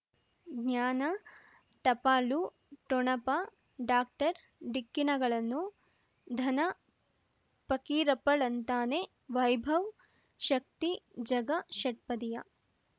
ಜ್ಞಾನ ಟಪಾಲು ಠೊಣಪ ಡಾಕ್ಟರ್ ಢಿಕ್ಕಿ ಣಗಳನು ಧನ ಫಕೀರಪ್ಪ ಳಂತಾನೆ ವೈಭವ್ ಶಕ್ತಿ ಝಗಾ ಷಟ್ಪದಿಯ